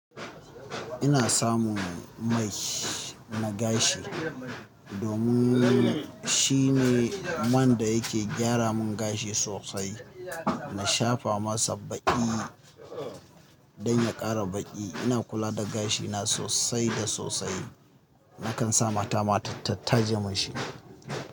Ina samun mai na gashi domin shine manda yake gyara mun gashi sosai. Na shafa masa baƙi donya ƙara baƙi. Ina kula da gashina sosai da sosai. Nakansa mata ma ta taje munshi.